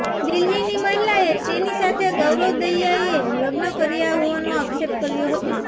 દિલ્હીની મહિલાએ તેની સાથે ગૌરવ દહિયાએ લગ્ન કર્યાં હોવાનો આક્ષેપ કર્યો છે